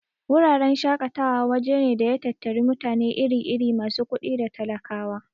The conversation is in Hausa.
Wuraren shaƙatawa waje ne da ya tattari mutane iri-iri, masu kuɗi da talakawa.